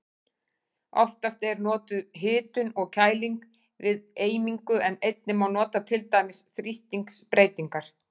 Oftast er notuð hitun og kæling við eimingu en einnig má nota til dæmis þrýstingsbreytingar.